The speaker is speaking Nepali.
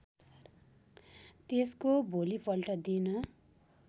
त्यसको भोलिपल्ट दिन